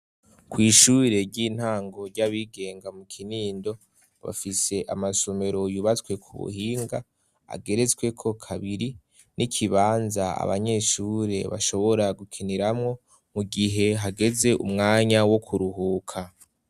Kwishure ry'intango ry'abigenga mu Kinindo bafise amasomero yubatswe ku buhinga ageretsweko kabiri n'ikibanza abanyeshure bashobora gukiniramwo mu gihe hageze umwanya wo kuruhuka.